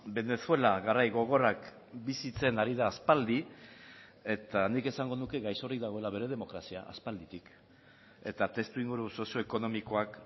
venezuela garai gogorrak bizitzen ari da aspaldi eta nik esango nuke gaixorik dagoela bere demokrazia aspalditik eta testuinguru sozioekonomikoak